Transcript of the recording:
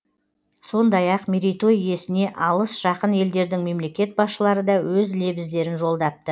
сондай ақ мерейтой иесіне алыс жақын елдердің мемлекет басшылары да өз лебіздерін жолдапты